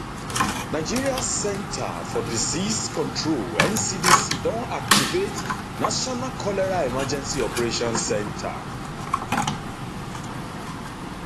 nigeria centre for disease control ncdc don activate national cholera emergency operation center